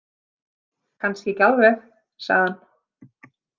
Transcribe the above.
Kannski ekki alveg, sagði hann.